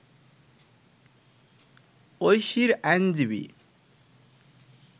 ঐশীর আইনজীবী